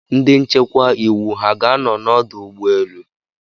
Ndị nchekwa iwu ha ga-anọ n'ọdụ ụgbọ elu?